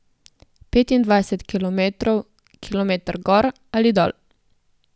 Petindvajset kilometrov, kilometer gor ali dol.